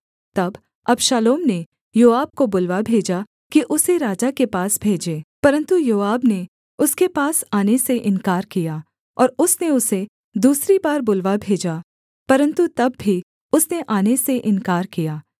तब अबशालोम ने योआब को बुलवा भेजा कि उसे राजा के पास भेजे परन्तु योआब ने उसके पास आने से इन्कार किया और उसने उसे दूसरी बार बुलवा भेजा परन्तु तब भी उसने आने से इन्कार किया